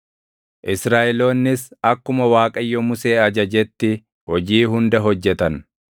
Israaʼeloonnis akkuma Waaqayyo Musee ajajetti hojii hunda hojjetan.